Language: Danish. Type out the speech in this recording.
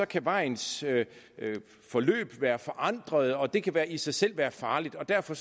kan vejens forløb være forandret og det kan i sig selv være farligt og derfor